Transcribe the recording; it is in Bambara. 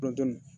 Kɔnɔntɔnnan